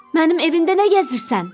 Mənim evimdə nə gəzirsən?